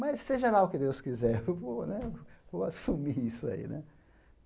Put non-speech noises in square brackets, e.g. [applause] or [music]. Mas seja lá o que Deus quiser, [laughs] eu vou né vou assumir isso aí né.